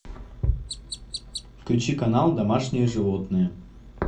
включи канал домашние животные